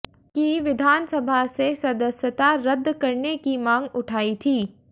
की विधानसभा से सदस्यता रद्द करने की मांग उठाई थी